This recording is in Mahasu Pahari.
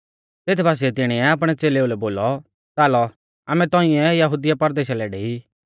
तेत बासिऐ तिणीऐ आपणै च़ेलेऊ लै बोलौ च़ालौ आमै तौंइऐ यहुदिया परदेशा लै डेई